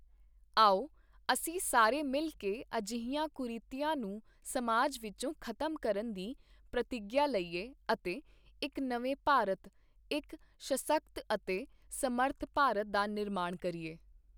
ਆਓ, ਅਸੀਂ ਸਾਰੇ ਮਿਲ ਕੇ ਅਜਿਹੀਆਂ ਕੁਰੀਤੀਆਂ ਨੂੰ ਸਮਾਜ ਵਿੱਚੋਂ ਖ਼ਤਮ ਕਰਨ ਦੀ ਪ੍ਰਤਿੱਗਿਆ ਲਈਏ ਅਤੇ ਇੱਕ ਨਵੇਂ ਭਾਰਤ, ਇੱਕ ਸਸ਼ਕਤ ਅਤੇ ਸਮਰੱਥ ਭਾਰਤ ਦਾ ਨਿਰਮਾਣ ਕਰੀਏ।